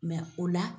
o la